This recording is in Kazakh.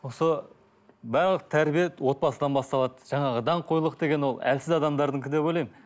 осы барлық тәрбие отбасыдан басталады жаңағы даңғойлық деген ол әлсіз адамдардікі деп ойлаймын